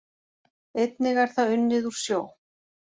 Einnig er það unnið úr sjó